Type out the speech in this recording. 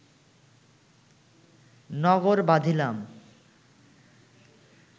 নগর বাঁধিলাম